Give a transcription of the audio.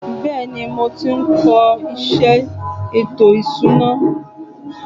Bẹ́ẹ̀ni, mo tí ń kó iṣé ètò ìsuna.